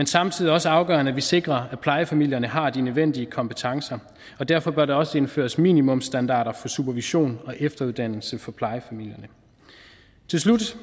samtidig også afgørende at vi sikrer at plejefamilierne har de nødvendige kompetencer og derfor bør der også indføres minimumsstandarder for supervision og efteruddannelse for plejefamilierne til slut